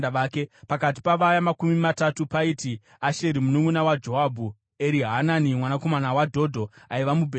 Pakati pavaya Makumi Matatu paiti: Asaheri mununʼuna waJoabhu, Erihanani mwanakomana waDhodho aibva kuBheterehema,